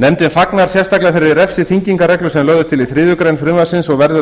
nefndin fagnar sérstaklega þeirri refsiþyngingarreglu sem lögð er til í þriðju greinar frumvarpsins og verður að